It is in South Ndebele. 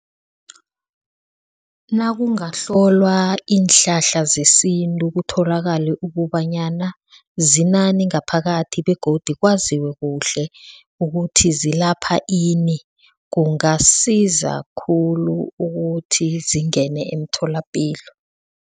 Nakungahlolwa iinhlahla zesintu, kutholakale ukobanyana zinani ngaphakathi begodu kwaziwe kuhle ukuthi zilapha ini? Kungasiza khulu ukuthi zingene emtholapilo.